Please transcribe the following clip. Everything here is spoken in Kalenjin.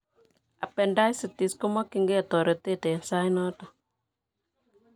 Appendicitis komakyinkei toret eng' saainoton